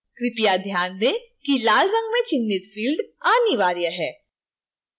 कृपया ध्यान दें कि लाल रंग में चिह्नित fields अनिवार्य हैं